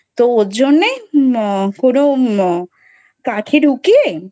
তো ওজন্যে আহ কোনো কাঠি ঢুকিয়ে